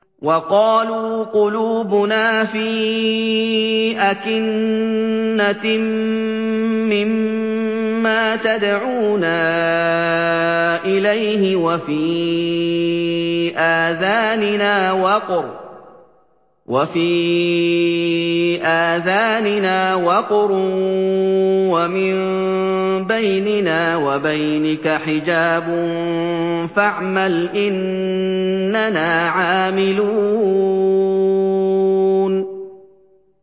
وَقَالُوا قُلُوبُنَا فِي أَكِنَّةٍ مِّمَّا تَدْعُونَا إِلَيْهِ وَفِي آذَانِنَا وَقْرٌ وَمِن بَيْنِنَا وَبَيْنِكَ حِجَابٌ فَاعْمَلْ إِنَّنَا عَامِلُونَ